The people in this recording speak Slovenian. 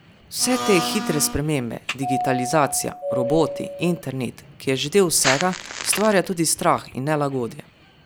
Vse te hitre spremembe, digitalizacija, roboti, internet, ki je že del vsega, ustvarja tudi strah in nelagodje.